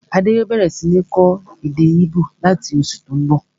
Adé yòó bẹ̀rẹ̀ sí ń kọ́ èdè íbò láti oṣù tó n bọ̀